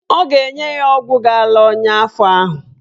Ọ ga-enye ya ọgwụ ga-ala ọnya afọ ahụ.